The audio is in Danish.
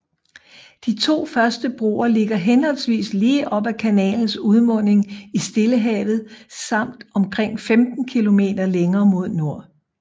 De to første broer ligger henholdsvis lige op ad kanalens udmunding i Stillehavet samt omkring 15 km længere mod nord